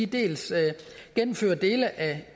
dels gennemfører dele af